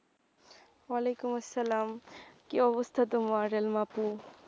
আলাইকুম আসলাম কি অবস্থা তোমার আলিমা আপু?